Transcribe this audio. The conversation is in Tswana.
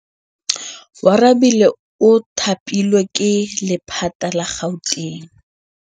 Oarabile o thapilwe ke lephata la Gauteng.